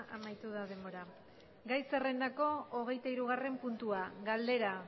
amaitu da denbora gai zerrendako hogeita hirugarren puntua galdera